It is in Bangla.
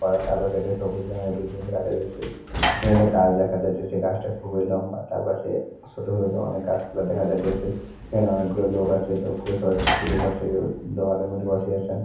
তার পাশে একটা সবুজ রঙের বিল্ডিং দেখা যাইতেছে। এখানে গাছ দেখা যাইতেছে। গাছটা খুবই লম্বা। তার পাশে ছোট ছোট অনেক গাছপালা দেখা যাইতেছে। এখানে অনেকগুলো লোক আছে। লোকগুলো সবাই পুকুরের পাশে কেউ দেওয়ালের মধ্যে বসে আসেন।